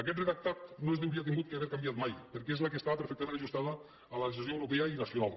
aquest redactat no s’hauria hagut de canviar mai perquè és el que estava perfectament ajustat a la legislació europea i nacional